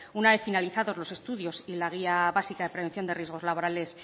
una vez finalizados los estudios y la guía básica de prevención de riesgos laborales